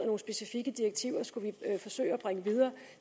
nogle specifikke direktiver videre